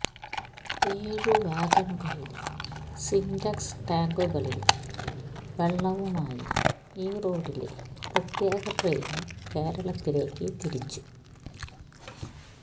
ഏഴു വാഗണുകളില് സിന്റ്കസ് ടാങ്കുകളില് വെള്ളവുമായി ഈറോഡില് പ്രത്യേക ട്രെയിന് കേരളത്തിലേക്കു തിരിച്ചു